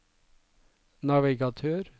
navigatør